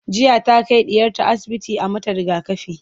jiya ta Kai ɗiyarta asibiti a mata rigakafi